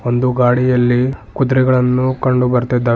ಒಂದು ಗಾಡಿಯಲ್ಲಿ ಕುದ್ರೆಗಳನ್ನು ಕಂಡು ಬರ್ತಿದ್ದಾವೆ.